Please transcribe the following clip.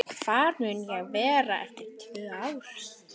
Hvar mun ég vera eftir tvö ár?